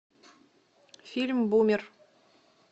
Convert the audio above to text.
фильм бумер